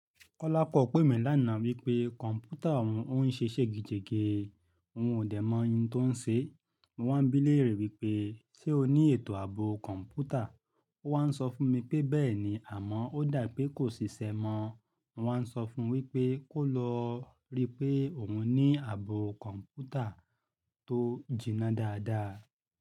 Kọ́lápọ̀ pèmí lánàá wípé kọ̀m̀pútà òun ṣe é ṣègejèke, n ò dè mọ ohun tó n ṣe. Mo wá bí léèrè wípé, "ṣé o ní ètò ààbò kọ̀m̀pútà?" O wá ń sọ fún mi pé bẹ́ẹ̀ ni, àmọ́ ó dà pé kò ṣiṣẹ́ mọ́. Mo wá ń sọ fún wípé kò lọ rí pé òun ní ààbò kọ̀m̀pútà tó jìnnà dáadáa.